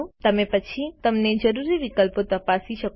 તમે પછી તમને જરૂરી વિકલ્પો તપાસી શકો છો